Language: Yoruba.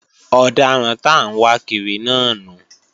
Ọ̀daràn t'áǹwákiri náà nu